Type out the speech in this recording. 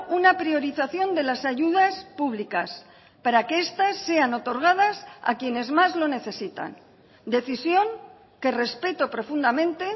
una priorización de las ayudas públicas para que estas sean otorgadas a quienes más lo necesitan decisión que respeto profundamente